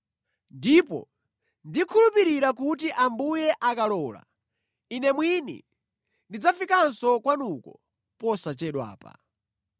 Ndipo ndikukhulupirira kuti Ambuye akalola ine mwini ndidzafikanso kwanuko posachedwapa.